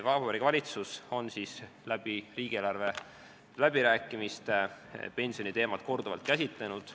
Vabariigi Valitsus on riigieelarve läbirääkimistel pensioniteemat korduvalt käsitlenud.